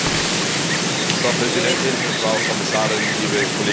Frau Präsidentin, Frau Kommissarin, liebe Kolleginnen und Kollegen!